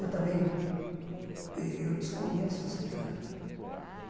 Eu também, eu desconheço as crianças.